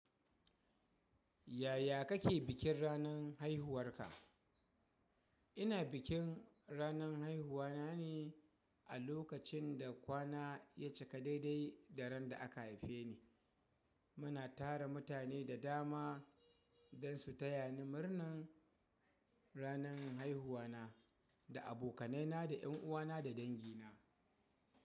Yaya kake bikin ranan haihuwarka? Ina bikin ranan haihuwa na ne a lokacin da kwana ya cika daidai da ran da aka haife ni. Muna tara mutane da dama don su taya ni murnan ranan haihuwa na, da abokanai na da yan uwana da dangina.